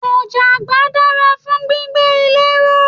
Ọ̀jáàgbá dára fún gbígbé ilé ró.